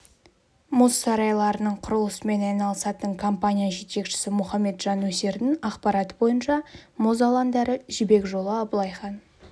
мұз сарайларының құрылысымен айналысатын компания жетекшісі мұхамеджан өсердің ақпараты бойынша мұз алаңдары жібек жолы абылай хан